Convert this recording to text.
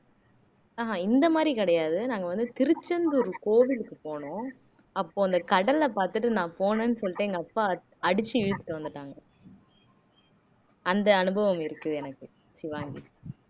ஆஹ் இந்த மாதிரி கிடையாது நாங்க வந்து திருச்செந்தூர் கோவிலுக்கு போனோம் அப்போ அந்த கடலை பார்த்துட்டு நான் போனேன்னு சொல்லிட்டு எங்க அப்பா அடிச்சு இழுத்துட்டு வந்துட்டாங்க அந்த அனுபவம் இருக்குது எனக்கு ஷிவாங்கி